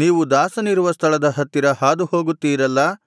ನೀವು ದಾಸನಿರುವ ಸ್ಥಳದ ಹತ್ತಿರ ಹಾದು ಹೋಗುತ್ತೀರಲ್ಲಾ